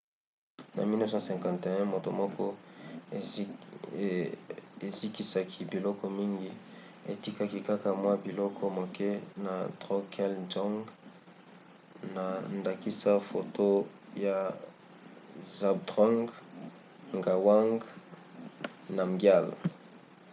na 1951 moto moko ezikisaki biloko mingi etikaki kaka mwa biloko moke na drukgyal dzong na ndakisa foto ya zhabdrung ngawang namgyal